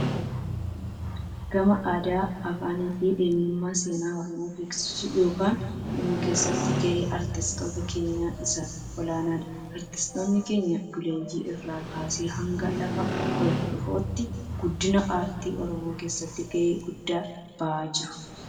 Gama aadaa, afaan fi eenyummaa seenaa Oromoo beeksisuu yookaan himuu keessatti gaheen artistoota keenyaa isa olaanaadha. Artistoonni keenya buleeyyii irraa kaasee hanga lafaa ol dhufootti guddina aartii Oromoo keessatti gahee guddaa bahaa jiru.